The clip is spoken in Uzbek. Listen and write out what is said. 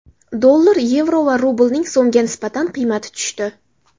Dollar, yevro va rublning so‘mga nisbatan qiymati tushdi.